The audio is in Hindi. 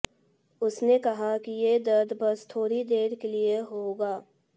उसने कहा कि ये दर्द बस थोड़ी देर के लिए होगा